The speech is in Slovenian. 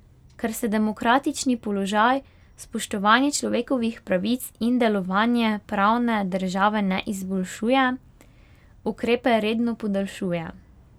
Ker se demokratični položaj, spoštovanje človekovih pravic in delovanje pravne države ne izboljšuje, ukrepe redno podaljšuje.